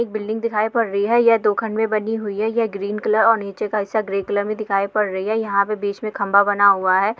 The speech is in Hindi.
एक बिल्डिंग दिखाई पड रही हैं यह धोख़ान मे बनि हुई हैं ये ग्रीन कलर और नीचे का हिस्सा ग्रे कलर मे दिखाई पड रही हैं यहाँ पे बीच मे खंबा बना हुआ हैं।